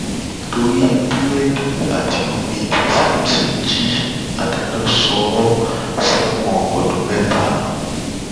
torí búrẹdì àti omi tí samson jí adájọ sọ ọ sẹwọn ọdún mẹta